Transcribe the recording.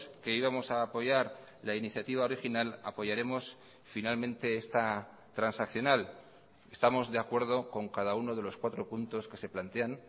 que íbamos a apoyar la iniciativa original apoyaremos finalmente esta transaccional estamos de acuerdo con cada uno de los cuatro puntos que se plantean